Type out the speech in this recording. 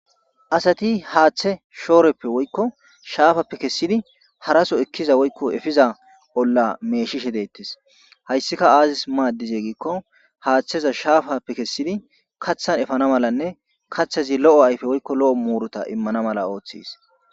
Asati hathe shooreppe woyko shafappe kessidi hara so ekiza woyko efiza olla meeshishe detes hayssika aazis maadize giiko haatheza shaafappe kesidi kaathan efana malanne kathazi lo'o ayfe woyko lo'o muuruta imana mala oothes.